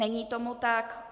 Není tomu tak.